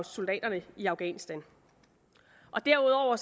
soldaterne i afghanistan derudover